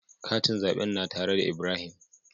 Katin zaɓen na tare da Ibrahim.